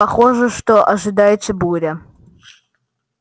похоже что ожидается буря